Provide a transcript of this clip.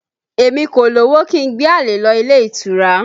Èmi kò lówó kí n gbé àlè lọ ilé ìtura